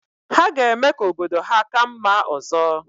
Ha ga-eme ka obodo ha ka mma ọzọ